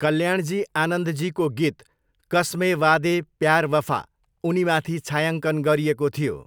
कल्याणजी आनन्दजीको गीत 'कस्मे वादे प्यार वफा' उनीमाथि छायाङ्कन गरिएको थियो।